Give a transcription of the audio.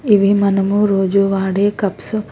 ఇవి మనము రోజు వాడే కప్స్ .